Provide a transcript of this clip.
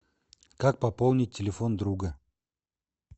как пополнить телефон друга